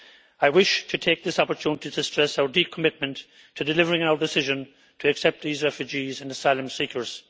I wish to take this opportunity to stress our deep commitment to delivering our decision to accept these refugees and asylum seekers.